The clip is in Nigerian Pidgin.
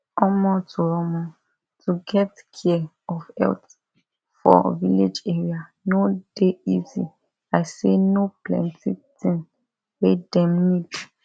omo to omo to get care of health for village area no dey easy i say no plenti thing wey dem need